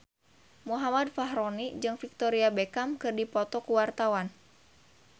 Muhammad Fachroni jeung Victoria Beckham keur dipoto ku wartawan